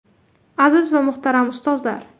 Aziz va muhtaram ustozlar!